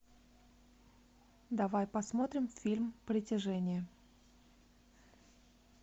давай посмотрим фильм притяжение